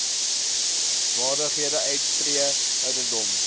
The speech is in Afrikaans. vaardighede uittree ouderdom